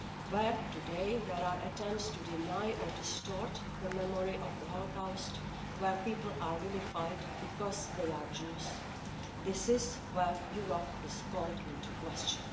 Where today there are attempts to deny or distort the memory of the Holocaust, where people are vilified because they are Jews, this is where Europe is called into question.